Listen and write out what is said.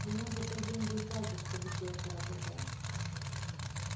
ему за то деньги и платят чтобы сетка работала